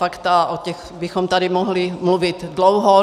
Fakta, o těch bychom tady mohli mluvit dlouho.